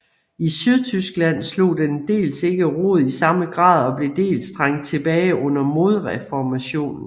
I Sydtyskland slog den dels ikke rod i samme grad og blev dels trængt tilbage under modreformationen